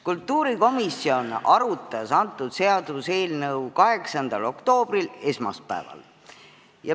Kultuurikomisjon arutas seda seaduseelnõu 8. oktoobril, esmaspäeval.